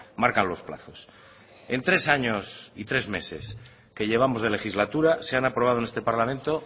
marcan los plazos en tres años y tres meses que llevamos de legislatura se han aprobado en este parlamento